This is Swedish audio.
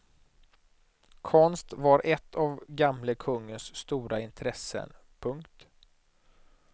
Konst var ett av gamle kungens stora intressen. punkt